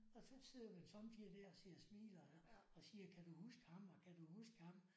Og så sidder man sommetider der og sidder og smiler og siger kan du huske ham og kan du huske ham